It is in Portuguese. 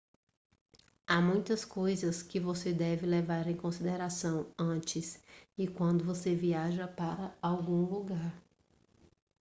há muitas coisas que você deve levar em consideração antes e quando você viaja para algum lugar